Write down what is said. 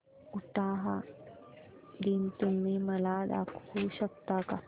उटाहा दिन तुम्ही मला दाखवू शकता का